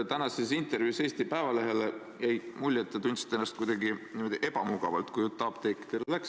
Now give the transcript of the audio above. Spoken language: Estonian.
Tänasest intervjuust Eesti Päevalehele jäi mulje, et te tundsite ennast kuidagi ebamugavalt, kui jutt apteekidele läks.